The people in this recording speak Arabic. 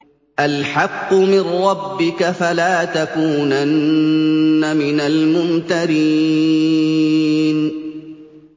الْحَقُّ مِن رَّبِّكَ ۖ فَلَا تَكُونَنَّ مِنَ الْمُمْتَرِينَ